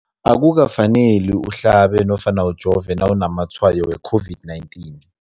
Akuka faneli uhlabe nofana ujove nawu namatshayo we-COVID-19.